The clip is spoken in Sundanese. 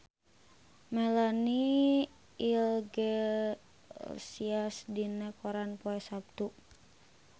Melanie Iglesias aya dina koran poe Saptu